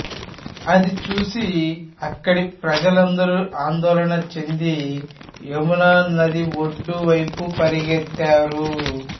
అది చూసి అక్కడి ప్రజలందరూ ఆందోళన చెంది యమున నది ఒడ్డు వైపు పరుగెత్తారు